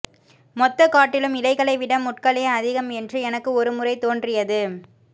மொத்தக்காட்டிலும் இலைகளை விட முட்களே அதிகம் என்று எனக்கு ஒருமுறை தோன்றியது